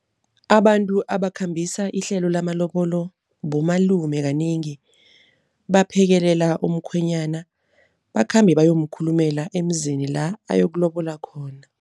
Abantu abakhambisa ihlelo lamalobolo bomalume. Kanengi baphekelela umkhwenyana bakhambe bayomkhulumela emzini, la ayokulobola khona.